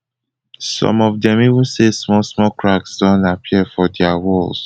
some of dem even say small small cracks don appear for dia walls